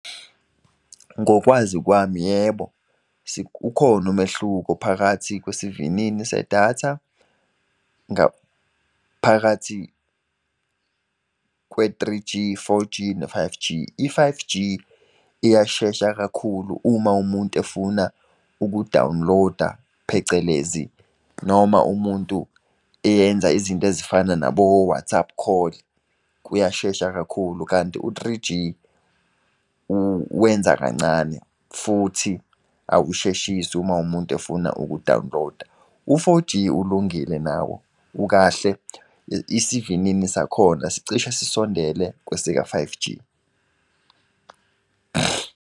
Ngokwazi kwami, yebo ukhona umehluko phakathi kwesivinini sedatha ngaphakathi kwe-three G, four G ne-five G. I-five G iyashesha kakhulu uma umuntu efuna uku-download-a phecelezi, noma umuntu eyenza izinto ezifana nabo-WhatsApp call, kuyashesha kakhulu. Kanti u-three G, wenza kancane, futhi awusheshisi uma umuntu efuna uku-download-a. U-four G, ulungile nawo, ukahle, isivinini sakhona sicishe sisondele kwesika-five G.